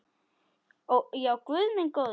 Já, guð minn góður.